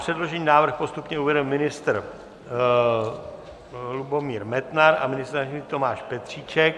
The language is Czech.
Předložený návrh postupně uvede ministr Lubomír Metnar a ministr Tomáš Petříček.